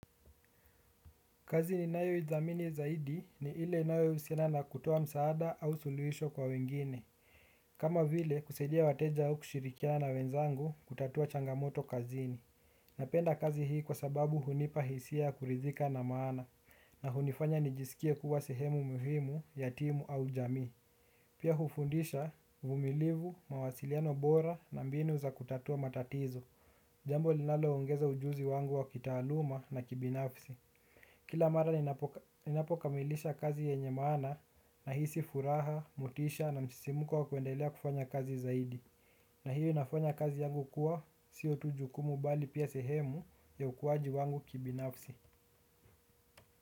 Kazi ni nayo ithamini zaidi ni ile nayo usiana na kutoa msaada au suluisho kwa wengine. Kama vile kusaidia wateja au kushirikiana na wenzangu kutatua changamoto kazini. Napenda kazi hii kwa sababu hunipa hisia kuridhika na maana na hunifanya nijisikie kuwa sehemu muhimu, ya timu au jamii. Pia hufundisha, uvumilivu, mawasiliano bora na mbini za kutatua matatizo. Jambo linalo ongeza ujuzi wangu wa kitaaluma na kibinafsi. Kila mara ninapokamilisha kazi yenye maana nahisi furaha, motisha na msisimuko wa kwendelea kufanya kazi zaidi. Na hiyo inafanya kazi yangu kuwa siyo tu jukumu bali pia sehemu ya ukuwaji wangu kibinafsi.